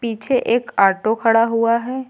पीछे एक ऑटो खड़ा हुआ है।